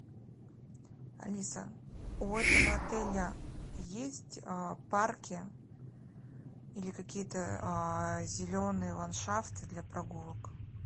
алиса у этого отеля есть парки или какие то зеленые ландшафты для прогулок